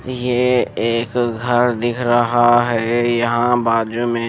यह एक घर दिख रहा है यहाँ बाजू में--